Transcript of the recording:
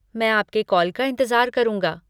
मैं आपके कॉल का इंतज़ार करूँगा।